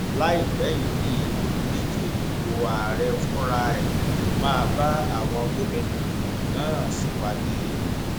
láìpẹ yìí ni olùdíje dupò ààrẹ fúnra ẹ máa bá àwọn gómìnà náà ṣèpàdé